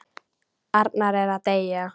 Arnar er að deyja.